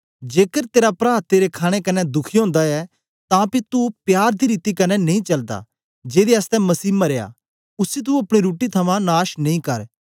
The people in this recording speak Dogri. जेकर तेरा प्रा तेरे खाणे कन्ने दुखी ओंदा ऐ तां पी तू प्यार दी रीति कन्ने नेई चलदा जेदे आसतै मसीह मरया उसी तू अपनी रुट्टी थमां नाश नेई कर